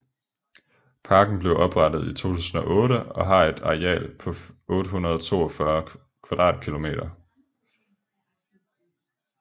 Parken blev oprettet i 2008 og har et areal på 842 km²2